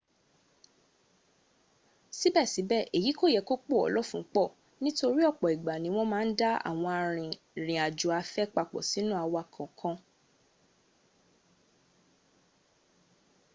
síbẹ̀síbẹ̀ èyí kò yẹ kó pò ọ́ lọ́fun pọ̀ nítorí ọ̀pọ̀ ìgbà ní wọ́n má ń da àwọn arìnrìn àjò afẹ́ papọ̀ sínú àwọn ọkọ̀